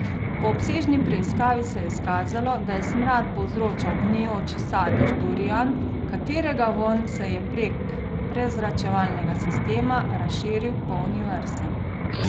Po obsežni preiskavi se je izkazalo, da je smrad povzročal gnijoči sadež durian, katerega vonj se je prek prezračevalnega sistema razširil po univerzi.